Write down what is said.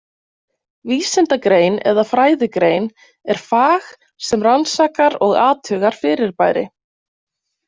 Vísindagrein eða fræðigrein er fag sem rannsakar og athugar fyrirbæri.